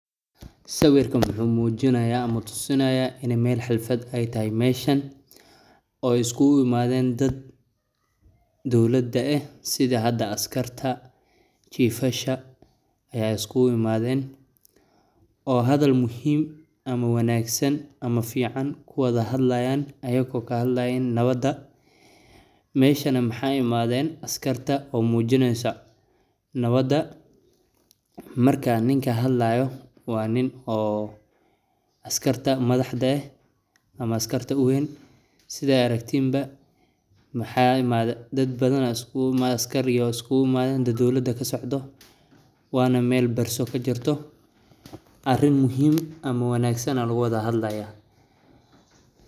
Sawirka waxuu muujinayaa ama tusinayaa in meel xalfad ay tahay meeshan ooy iskgu imadeen dad dowlada eh sidi hada askarta ,chiefasha ayaa iskugu imadeen ,oo hadal muhiim ama wanaagsan ama fiican kuwada hadlayaan ayakoo kahadlayiin nawada ,meeshana maxaa imadeen askarta oo muujineyso nawada ,markaa ninka hadlaayo waa nin oo askarta madaxda eh ama askarta uweyn sidaa aragtiin ba maxaa imaade dad badan aa iskugu imaade askar iyo iskugu imadeen dad dowlada ka socdo ,waana meel barso ka jirto arrin muhiim ama wanaagsan ayaa lagu wada hadlayaa.